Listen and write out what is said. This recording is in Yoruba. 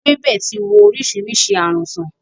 Ewébẹ̀ ti wo oríṣiríṣi ààrùn sán.